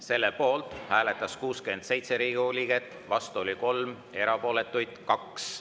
Selle poolt hääletas 67 Riigikogu liiget, vastu oli 3, erapooletuid 2.